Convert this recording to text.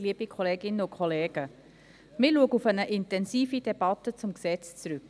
Wir schauen auf eine intensive Debatte zu diesem Gesetz zurück.